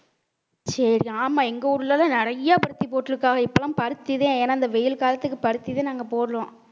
சரி ஆமா எங்க ஊர்லதான் நிறைய பருத்தி போட்டிருக்காங்க இப்ப எல்லாம் பருத்திதான் ஏன்னா இந்த வெயில் காலத்துக்கு பருத்திதான் நாங்க போடுறோம்